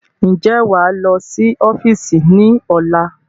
Ń jẹ́ wá lọ sí ọ́fíìsì ni ọ̀la?